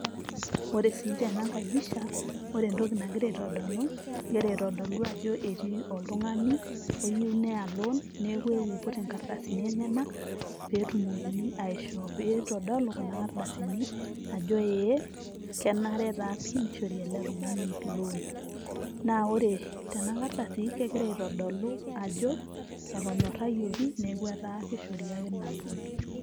Ore sii tenangai pisha, ore entoki nagira aitodolu egira aitodolu ajo etii oltungani iyieu neya loon, neeku eewuo aiput enkardasini enyanak pee etumokini aishoo metaa kitodolu kuna ardasini kenare taa pii nishori ele tungani loon. Naa ore tena kardasi kigira aitodolu ajo enyorayioki neeku etaa kishori ake ina loon.